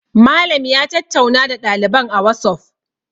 Malam ya tattauna da ɗaliban a wasof